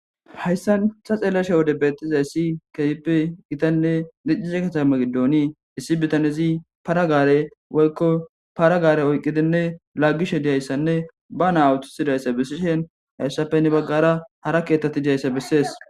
Hayssan ta xeelashe wode bettiza issi keype gitanne diccize katamakidooni issi bitanezi paragaare woykko paragaare oyqqidinne laagishe diyayssanne ba naa awuthisidayssa bessishen hayssappenne baggara hara ketthatti diyayssa bessees.